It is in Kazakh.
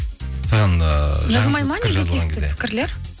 саған ыыы жазылмайды ма негативті пікірлер